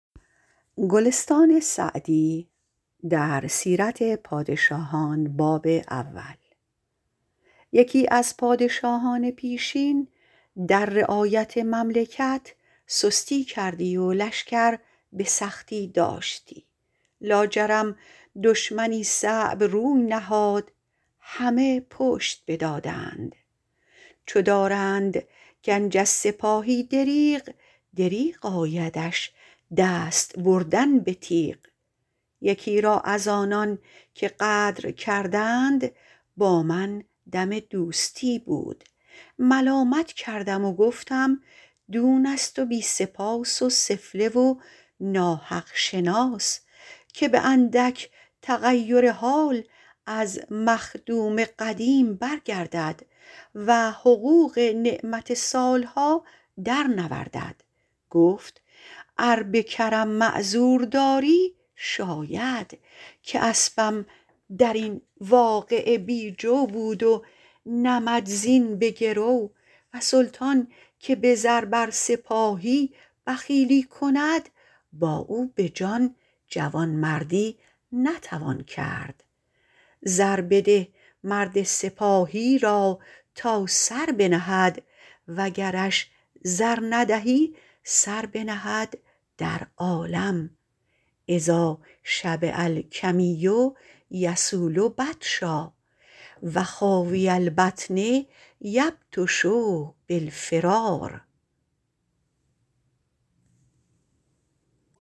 یکی از پادشاهان پیشین در رعایت مملکت سستی کردی و لشکر به سختی داشتی لاجرم دشمنی صعب روی نهاد همه پشت بدادند چو دارند گنج از سپاهی دریغ دریغ آیدش دست بردن به تیغ یکی را از آنان که غدر کردند با من دم دوستی بود ملامت کردم و گفتم دون است و بی سپاس و سفله و ناحق شناس که به اندک تغیر حال از مخدوم قدیم برگردد و حقوق نعمت سال ها در نوردد گفت ار به کرم معذور داری شاید که اسبم در این واقعه بی جو بود و نمدزین به گرو و سلطان که به زر بر سپاهی بخیلی کند با او به جان جوانمردی نتوان کرد زر بده مرد سپاهی را تا سر بنهد و گرش زر ندهی سر بنهد در عالم اذا شبع الکمی یصول بطشا و خاوی البطن یبطش بالفرار